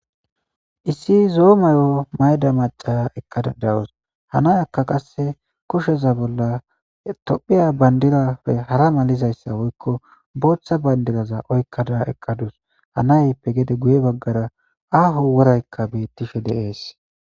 Issi zo'o may'o mayida maca eqadus. Ha nayaka qase kushaza bolla tophiya bandirappe hara malizaysa Botha bandraza oykada utadus .ha nayippe gede guye bagara aho worayka betishe de'es.